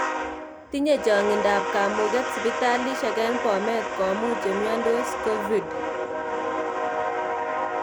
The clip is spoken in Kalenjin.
Tinye changindab kamuuget sipitalisiek eng bomet komuuch chemyontoos covid